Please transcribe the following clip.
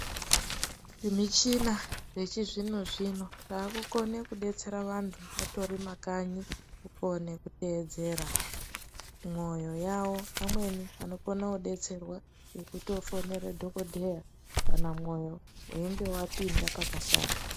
Zvimichina yechizvino zvino yaakukone kudetsera vanthu vatori mumakanyi kukone kedeedzera mwoyo yawo amweni anokona kudetserwa nekutofonere dhokodheya kana mwoyo weinge wapinda pakashata.